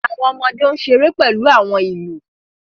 Awọn ọmọde n ṣere pẹlu awọn ilu